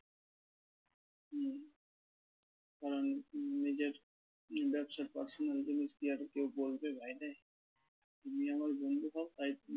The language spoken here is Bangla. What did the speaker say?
কারণ নিজের উম ব্যবসার personal জিনিস কি কেউ আর বলবে বাইরে তুমি আমার বন্ধু হও তাই তুমি